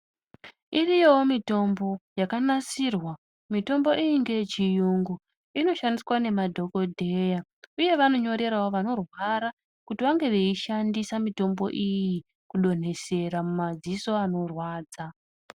Kune mitombo yakanasirwa mitombo iyi ngeyechiyungu inoshandiswa nemadhokodheya. Uye vanonyorerawo vanorwara kuti vange veishandisa mitombo iyi kudontesera mumadziso anorwadza.